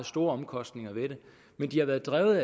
store omkostninger ved det men de har været drevet